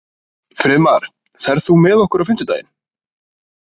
Friðmar, ferð þú með okkur á fimmtudaginn?